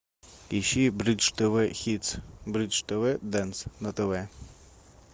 ищи бридж тв хитс бридж тв денс на тв